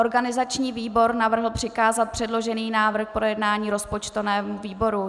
Organizační výbor navrhl přikázat předložený návrh k projednání rozpočtovému výboru.